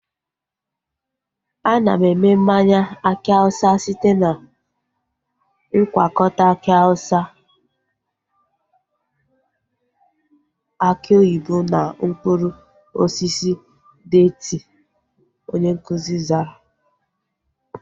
Ana eme mmanya aki awụsa site na ngwakọta aki awụsa, aki oyibo na mkpụrụ osisi deeti, onye nkụzi zara